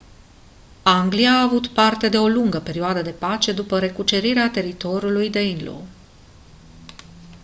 anglia a avut parte de o lungă perioadă de pace după recucerirea teritoriului danelaw